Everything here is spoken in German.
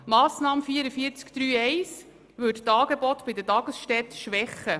Die Massnahme 44.3.1 würde die Angebote der Tagesstätten schwächen.